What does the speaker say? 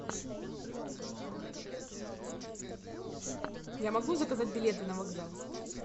я могу заказать билеты на вокзал